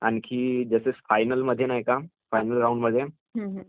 आणखी फायनल मध्ये नाही का, फायनल राउंड मध्ये